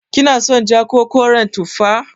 Kina son ja ko koren tufa?